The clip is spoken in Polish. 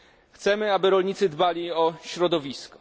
Chcemy, aby rolnicy dbali o środowisko.